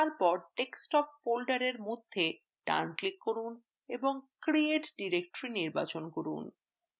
তারপর desktop folder মধ্যে thenclick করুন এবং create directory নির্বাচন করুন